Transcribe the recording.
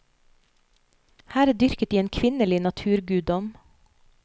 Her dyrket de en kvinnelig naturguddom.